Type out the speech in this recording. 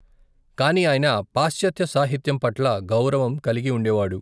కాని ఆయన పాశ్చాత్య సాహిత్యం పట్ల గౌరవం కలిగి ఉండేవాడు.